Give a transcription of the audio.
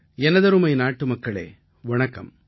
எனதருமை நாட்டுமக்களே வணக்கம்